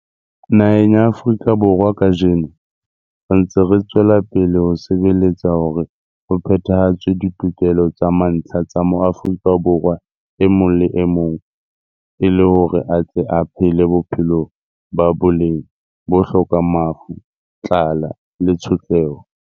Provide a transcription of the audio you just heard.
Naheng ya Afrika Borwa kajeno, re ntse re tswela pele ho sebeletsa hore ho phetha-hatswe ditokelo tsa mantlha tsa Moafrika Borwa e mong le e mong e le hore a tle a phele bophelo ba boleng bo hlokang mafu, tlala le tshotleho.